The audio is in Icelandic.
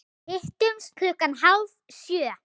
Hittumst klukkan hálf sjö.